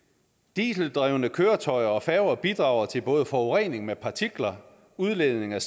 dieseldrevne køretøjer og færger bidrager til både forurening med partikler udledning af